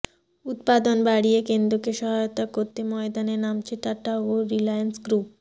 উৎপাদন বাড়িয়ে কেন্দ্রকে সহায়তা করতে ময়দানে নামছে টাটা ও রিলায়েন্স গ্রুপ